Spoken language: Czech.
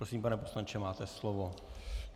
Prosím, pane poslanče, máte slovo.